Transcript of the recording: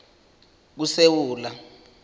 kusewula